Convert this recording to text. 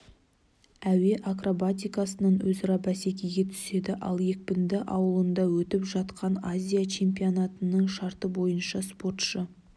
әуе акробатикасынан өзара бәсекеге түседі ал екпінді ауылында өтіп жатқан азия чемпионатының шарты бойынша спортшы